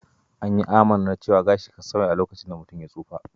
An yi amannar cewar gashi kan sauya a lokacin da mutum ya tsufa.